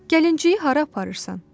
"Gəlinciyi hara aparırsan?"